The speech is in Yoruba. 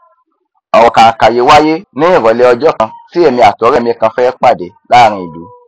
ọrọ kànkà yí wáíyé ní ìrọlẹ ọjọ kan tí èmi àti ọrẹ mi kan fẹ pàdé láàrin ìlú